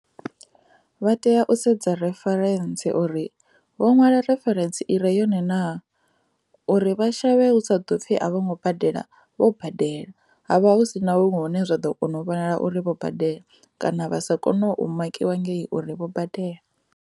Vha tea u sedza referentsi uri vho nwala referentsi i re yone na uri vha shavhe hu sa ḓo pfhi a vho ngo badela vho badela havha hu si na vho hune zwa ḓo kona u vhonala uri vho badela kana vha sa kone u makiwa ngei uri vho badela.